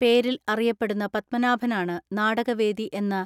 പേരിൽ അറിയപ്പെടുന്ന പത്മാനാഭനാണ് നാടക വേദി എന്ന